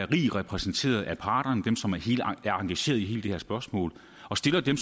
rig repræsentation af parterne dem som er engageret i hele det her spørgsmål og stiller dem